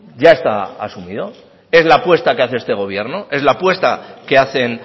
ya está asumido es la apuesta que hace este gobierno es la apuesta que hacen